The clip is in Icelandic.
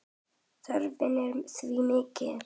Þörfin er því mikil.